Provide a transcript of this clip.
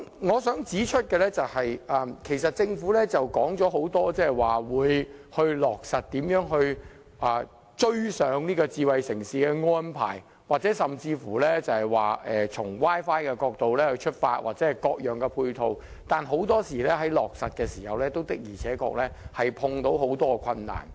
我想指出的是，政府多次表示要落實各項發展智慧城市的安排，甚至要以 Wi-Fi 作為出發點及提供各項配套等。但是，很多時候在落實的時候，也遇到很多困難。